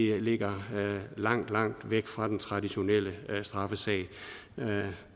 det ligger langt langt væk fra den traditionelle straffesag